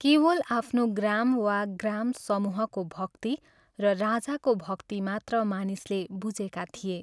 केवल आफ्नो ग्राम वा ग्रामसमूहको भक्ति र राजाको भक्ति मात्र मानिसले बुझेका थिए।